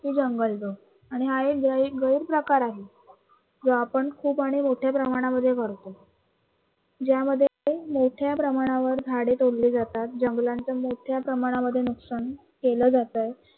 ती जंगलतोड आणि हा एक गैरप्रकार आहे जो आपण खूप आणि मोठ्या प्रमाणामध्ये करतो ज्यामध्ये मोठ्या प्रमाणावर झाडे तोडली जातात, जंगलांचं मोठ्या प्रमाणामध्ये नुकसान केलं जात